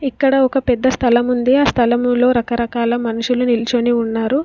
ఇక్కడ ఒక పెద్ద స్థలం ఉంది. ఆ స్థలములో రకరకాల మనుషులు నిల్చొని ఉన్నారు.